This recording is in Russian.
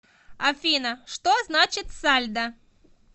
афина что значит сальдо